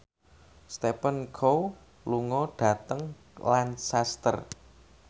Stephen Chow lunga dhateng Lancaster